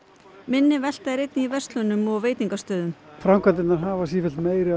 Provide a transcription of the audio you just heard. minni velta er einnig í verslunum framkvæmdirnar hafa sífellt meiri